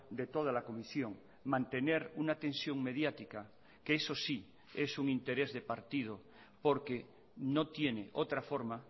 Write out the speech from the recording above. de toda la comisión mantener una tensión mediática que eso sí es un interés de partido porque no tiene otra forma